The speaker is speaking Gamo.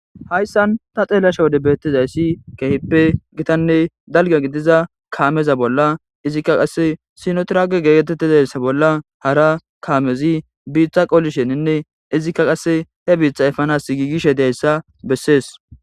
hayssan ta xeelashe wode beettizayssi keehippe gitanne dalga gidiza kaameza bolla izikka qasse sinotrage geeetettizayssa bolla hara kaamezi biitha qolisheninne izikka qasse he biitha ipanas giigishe dayssa bessees.